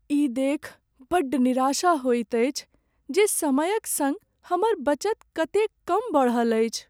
ई देखि बड्ड निराशा होइत अछि जे समयक संग हमर बचत कतेक कम बढ़ल अछि।